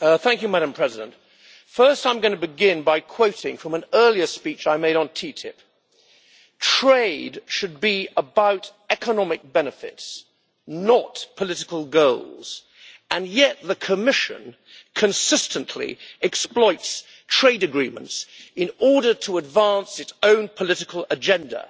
Madam President, I will begin by quoting from an earlier speech I made on TTIP trade should be about economic benefits, not political goals, and yet the Commission consistently exploits trade agreements in order to advance its own political agenda.